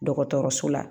Dɔgɔtɔrɔso la